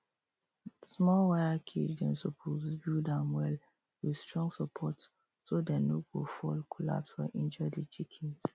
small wire cage dem suppose build am well with strong support so dem no go fall collapse or injure the chickens